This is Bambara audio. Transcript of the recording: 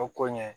O koɲɛ